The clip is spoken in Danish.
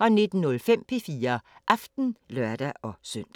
19:05: P4 Aften (lør-søn)